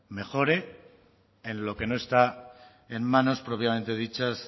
mejore en lo que no está en manos propiamente dichas